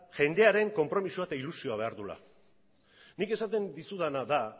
jendearen konpromisoa eta ilusioa behar duela nik esaten dizudana da